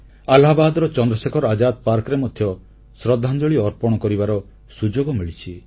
ଆହ୍ଲାବାଦର ଚନ୍ଦ୍ରଶେଖର ଆଜାଦ ପାର୍କରେ ମଧ୍ୟ ଶ୍ରଦ୍ଧାଞ୍ଜଳି ଅର୍ପଣ କରିବାର ସୁଯୋଗ ମିଳିଛି